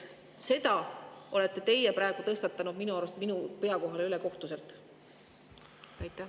Selle olete te praegu minu arust ülekohtuselt minu.